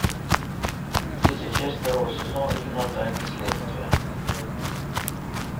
третья часть второго сезона кино тайны следствия